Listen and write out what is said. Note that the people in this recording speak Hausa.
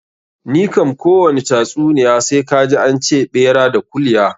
Ni kam kowani tatsuniya sai kaji an ce ɓera da kulya.